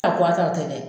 A kɔn a taara ten dɛ